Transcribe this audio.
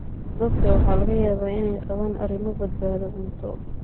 Dadka waxaa laga yaabaa inay qabaan arrimo badbaado cunto.